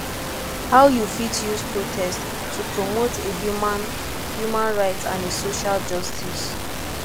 how you fit use protest to promote a human human rights and a social justice